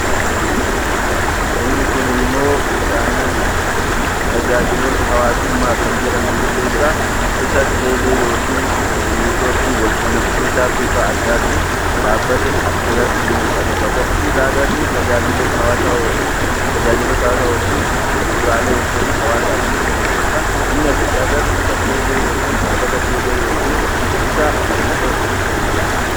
Inni kunimmoo tajaajiloota hawaasummaa kan jedhaman keessaa isa teelee yookiin neetoorkii walquunnamsiisaa bifa addaatiin dhaabbata asirratti ni mul'ata. Kan nuti agarru tajaajiloota hawaasaa yookiin bu'uuraalee wantoota hawaasaaf barbaachisaa ta'edha. Inni asitti agarru isa teelee dhaabbata teelee yookiin isa neetoorkii jennuun.